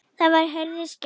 Þá var Herði skemmt.